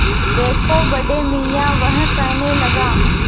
देखो बड़े मियाँ वह कहने लगा